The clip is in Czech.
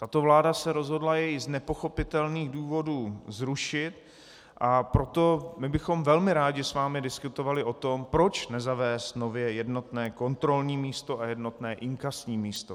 Tato vláda se rozhodla jej z nepochopitelných důvodů zrušit, a proto my bychom velmi rádi s vámi diskutovali o tom, proč nezavést nově jednotné kontrolní místo a jednotné inkasní místo.